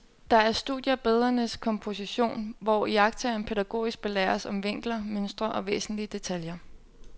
Der er studier af billedernes komposition, hvor iagttageren pædagogisk belæres om vinkler, mønstre og væsentlige detaljer.